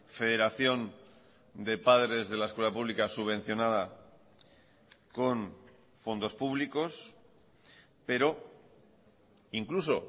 federación de padres de la escuela pública subvencionada con fondos públicos pero incluso